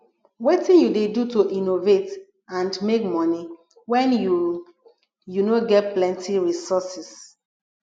wetin you dey do to innovate and make monie when you you no ge plenty resources